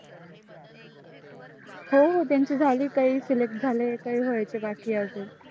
हो त्यांचे झाले काही select झाले काही व्हायचे बाकी आहे अजून